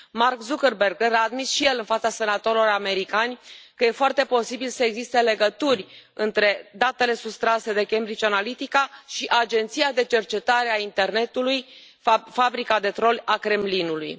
Mark Zuckerberg a admis și el în fața senatorilor americani că e foarte posibil să existe legături între datele sustrase de Cambridge Analytica și Agenția de Cercetare a Internetului, fabrica de troli a Kremlinului.